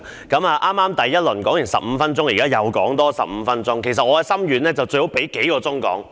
剛才第一輪我已發言15分鐘，現在再發言15分鐘，而其實我的心願是最好有數小時讓我發言。